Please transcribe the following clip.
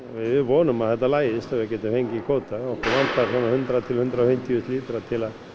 við vonum að þetta lagist og við getum fengið kvóta okkur vantar svona hundrað til hundrað og fimmtíu þúsund lítra til að